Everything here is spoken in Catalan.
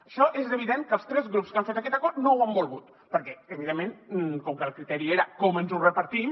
això és evident que els tres grups que han fet aquest acord no ho han volgut perquè evidentment com que el criteri era com ens ho repartim